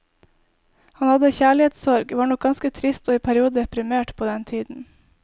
Han hadde kjærlighetssorg, var nok ganske trist og i perioder deprimert på den tiden.